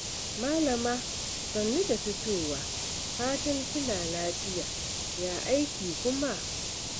Malama sannu da fitowa, fatan kina lafiya, ya aiki kuma?